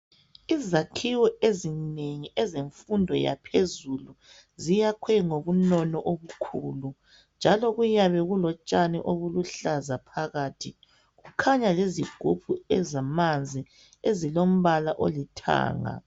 Izakhiwo ezinengi ezemfundo yaphezulu ziyakhiwe ngobunono obukhulu njalo kuyabe kulotshani obuluhlaza phakathi kukhanya lezigumbu ezamanzi ezilombala olithanga.